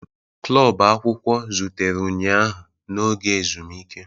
Klọb akwụkwọ zutere ụnyaahụ n'oge ezumike.